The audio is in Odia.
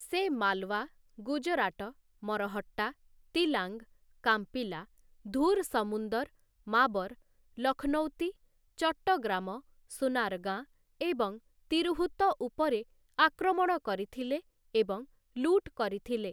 ସେ ମାଲ୍‌ୱା, ଗୁଜରାଟ, ମରହଟ୍ଟା, ତିଲାଙ୍ଗ୍‌, କାମ୍ପିଲା, ଧୁର୍‌ ସମୁନ୍ଦର୍‌, ମାବର୍‌, ଲଖ୍‌ନୌତି, ଚଟ୍ଟଗ୍ରାମ, ସୁନାର୍‌ଗାଁ ଏବଂ ତିର୍‌ହୁତ ଉପରେ ଆକ୍ରମଣ କରିଥିଲେ ଏବଂ ଲୁଟ୍‌ କରିଥିଲେ ।